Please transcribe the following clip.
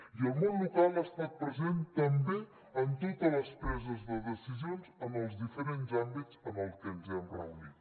i el món local ha estat present també en totes les preses de decisions en els diferents àmbits en els que ens hem reunit